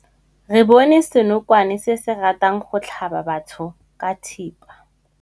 Re bone senokwane se se ratang go tlhaba batho ka thipa.